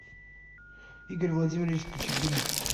игорь владимирович кичигин